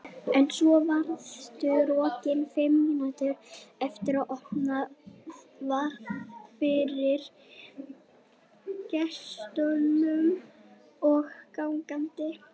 En svo varstu rokin fimm mínútum eftir að opnað var fyrir gestum og gangandi.